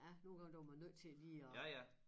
Ja nu kan dog man nødt til lige at